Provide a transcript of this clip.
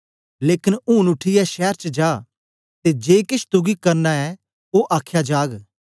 लेकन ऊन उठीयै शैर च जा ते जे केछ तुगी करना ऐ ओ आखया जाग